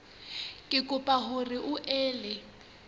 re kopa hore o ele